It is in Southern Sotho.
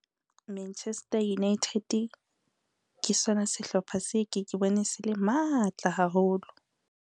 Manchester United, ke sona sehlopha se ke ke bone se le matla haholo.